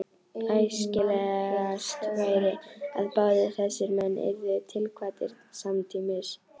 Æskilegast væri, að báðir þessir menn yrðu tilkvaddir samtímis.